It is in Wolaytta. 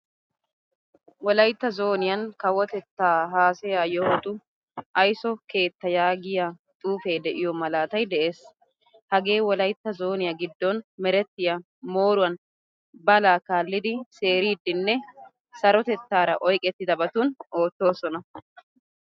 Wolaytta zooniyan kawotetta haasayaa yohotu ayso keettaa yaagiyaa xuufe deiyo mlaatay de'ees. Hagee wolayttaa zooniyaa giddon merettiyaa mooruwan balaa kaalidi seeridinne sarotettaara oyqqetidabatun oottoosona.